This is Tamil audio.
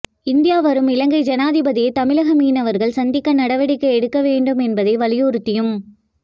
இந்தியா வரும் இலங்கை ஜனாதிபதியை தமிழக மீனவர்கள் சந்திக்க நடவடிக்கை எடுக்க வேண்டும் என்பதை வலியுறுத்தியும்